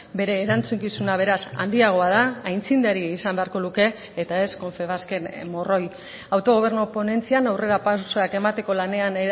bere erantzukizuna beraz handiagoa da aitzindari izan beharko luke eta ez confebasken morroi autogobernu ponentzian aurrera pausoak emateko lanean